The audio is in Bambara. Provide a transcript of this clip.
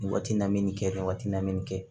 Nin waati na me nin kɛ nin waati na nin kɛ